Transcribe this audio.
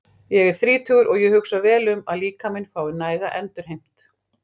Ég er þrítugur og ég hugsa vel um að líkaminn fái næga endurheimt.